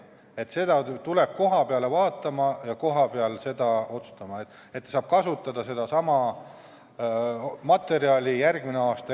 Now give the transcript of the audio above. Ameti esindaja tuleb kohapeale vaatama ja otsustama, kas talupidaja saab järgmisel aastal kasutada sedasama materjali seemnena.